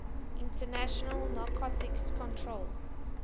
international narcotics control